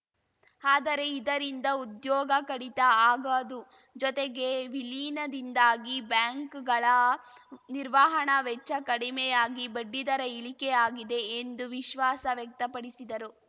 ಆದರೆ ಇದರಿಂದ ಉದ್ಯೋಗ ಕಡಿತ ಆಗದು ಜೊತೆಗೆ ವಿಲೀನದಿಂದಾಗಿ ಬ್ಯಾಂಕ್‌ಗಳ ನಿರ್ವಹಣಾ ವೆಚ್ಚ ಕಡಿಮೆಯಾಗಿ ಬಡ್ಡಿದರ ಇಳಿಕೆಯಾಗಿದೆ ಎಂದು ವಿಶ್ವಾಸ ವ್ಯಕ್ತಪಡಿಸಿದರು